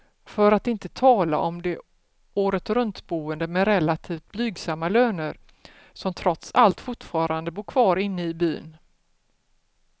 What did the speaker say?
För att inte tala om de åretruntboende med relativt blygsamma löner, som trots allt fortfarande bor kvar inne i byn.